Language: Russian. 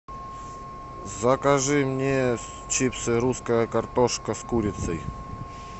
закажи мне чипсы русская картошка с курицей